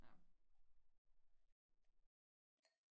nå